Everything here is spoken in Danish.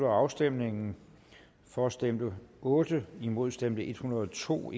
afstemningen for stemte otte imod stemte en hundrede og to